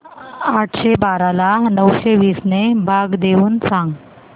आठशे बारा ला नऊशे वीस ने भाग देऊन सांग